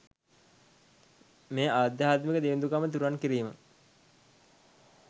මේ අධ්‍යාත්මික දිළිඳුකම තුරන් කිරීම